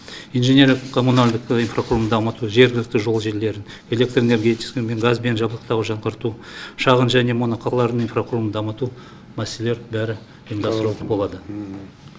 инженерлік коммуналдық инфрақұрылымды дамыту жергілікті жол желілерін электр энергетикасымен газбен жабдықтау жаңғырту шағын және моноқалалардың инфрақұрылымын дамыту мәселелер бәрі ұйымдастырылатын болады